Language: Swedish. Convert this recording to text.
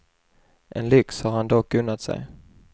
En lyx har han dock unnat sig.